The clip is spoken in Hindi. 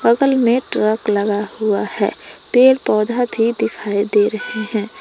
बगल में ट्रक लगा हुआ है पेड़ पौधा भी दिखाई दे रहे हैं।